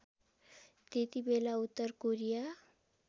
त्यतिबेला उत्तर कोरिया